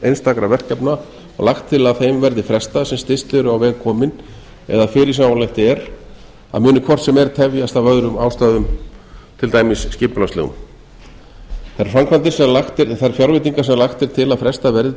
einstakra verkefna og lagt til að þeim verði frestað sem styst eru á veg komin eða fyrirsjáanlegt er að muni hvort sem er tefjast af öðrum ástæðum til dæmis skipulagslegum þær fjárveitingar sem lagt er til að frestað verði